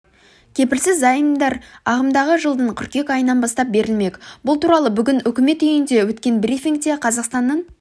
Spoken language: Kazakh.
кепілсіз заемдар ағымдағы жылдың қыркүйек айынан бастап берілмек бұл туралы бүгін үкімет үйінде өткен брифингте қазақстанның